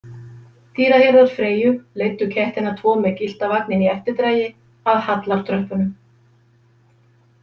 Dýrahirðar Freyju leiddu kettina tvo með gyllta vagninn í eftirdragi að hallartröppunum.